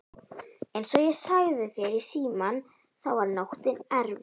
Einsog ég sagði þér í símann þá var nóttin erfið.